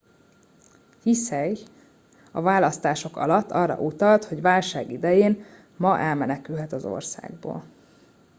hsieh a választások alatt arra utalt hogy válság idején ma elmenekülhet az országból